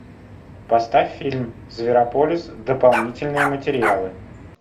поставь фильм зверополис дополнительные материалы